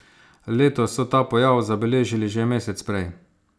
Letos so ta pojav zabeležili že mesec prej.